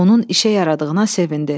Onun işə yaradığına sevindi.